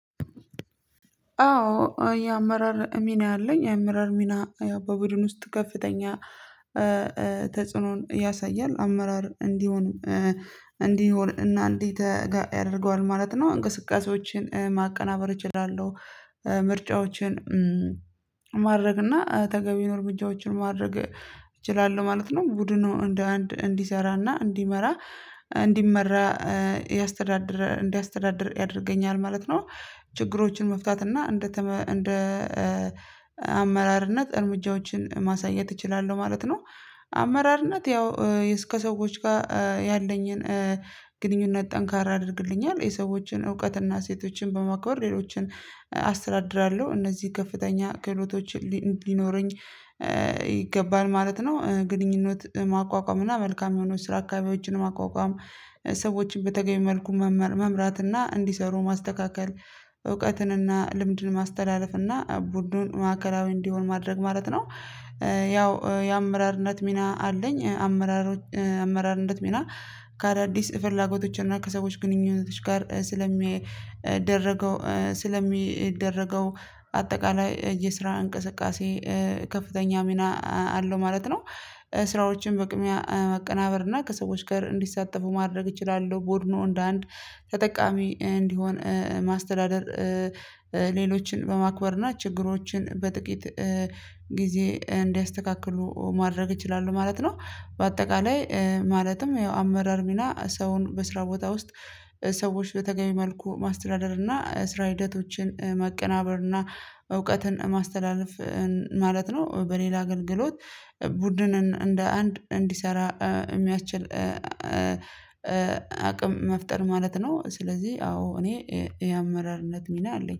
አዎ የአመራር ሚና አለኝ። የአመራር ሚና። በቡድን ውስጥ ከፍተኛ ተጽዕኖን ያሳያል። አመራር እንዲሆን እንዲሆን እና እንዴት ያደርገዋል ማለት ነው። እንቅስቃሴዎችን ማቀናበር እችላለሁ። ምርጫዎችን ማድረግ እና ተገቢ የሆነ እርምጃዎችን ማድረግ እችላለሁ ማለት ነው። ቡድኑ እንደ አንድ እንዲሰራና እንዲመራ እንዲመራ ያስተዳድር እንዲያስተዳድር ያደርገኛል ማለት ነው። ችግሮችን መፍታት እና እንደ እንደ አመራርነት እርምጃዎችን ማሳየት እችላለሁ ማለት ነው። አመራርነት ያው እስከ ሰዎች ጋር ያለኝን ግንኙነት ጠንካራ ያደርግልኛል። የሰዎችን እውቀትና ሴቶችን በማክበር ሌሎችን አስተዳድራለሁ እነዚህ ከፍተኛ ክህሎቶች ሊኖረኝ ይገባል ማለት ነው። ግንኙነት ማቋቋም እና መልካም የሆኑት ስራ አካባቢዎችን ማቋቋም ሰዎችን በተገቢ መልኩ መምራት እና እንዲሰሩ ማስተካከል እውቀትን እና ልምድን ማስተላለፍና ቡድኑን ማእከላዊ እንዲሆን ማድረግ ማለት ነው። ያው የአመራርነት ሚና አለኝ። አመራር አመራርነት ሚና ከአዳዲስ ፍላጎቶች እና ከሰዎች ግንኙነቶች ጋር ስለሚደረገው ስለሚደረገው አጠቃላይ የስራ እንቅስቃሴ ከፍተኛ ሚና አለው ማለት ነው። ስራዎችን በቅድሚያ መቀናበር እና ከሰዎች ጋር እንዲሳተፉ ማድረግ እችላለሁ ቡድኑ እንደ አንድ ተጠቃሚ እንዲሆን ማስተዳደር። ሌሎችን በማክበር እና ችግሮችን በጥቂት ጊዜ እንዲያስተካክሉ ማድረግ ይችላሉ ማለት ነው። በአጠቃላይ ማለትም ያው አመራር ሚና ሰውን በስራ ቦታ ውስጥ ሰዎች በተገቢ መልኩ ማስተዳደር እና ስራ ሂደቶችን መቀናበር እና እውቀትን ማስተላለፍ ማለት ነው። በሌላ አገልግሎት ቡድኑን እንደ አንድ እንዲሰራ የሚያስችል አቅም መፍጠር ማለት ነው። ስለዚህ አዎ እኔ የአመራርነት ሚና አለኝ